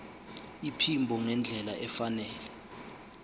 iphimbo ngendlela efanele